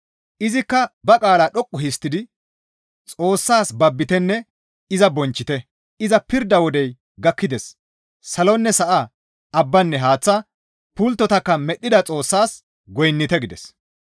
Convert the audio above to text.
Izikka ba qaalaa dhoqqu histtidi, «Xoossas babbitenne iza bonchchite; iza pirda wodey gakkides; Salonne Sa7a, abbanne haaththa, pulttotakka medhdhida Xoossaas goynnite» gides.